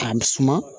K'a suma